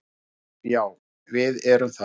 Já, já við erum það.